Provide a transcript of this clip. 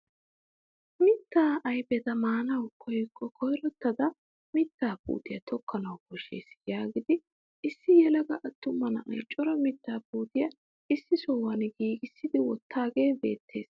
Mittaa ayfeta maanawu koyikko koyrottada mittaa puutiyaa tokkanawu koshshees yaagidi issi yelaga attuma na'ay cora mittaa puutiyaa issi sohuwaan giigissi wottaagee beettees!